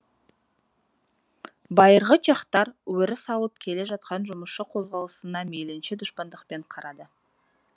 байырғы чехтар өріс алып келе жатқан жұмысшы қозғалысына мейлінше дұшпандықпен қарады